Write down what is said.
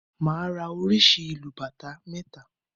Màá ra oríṣi ìlù bàtá mẹ́ta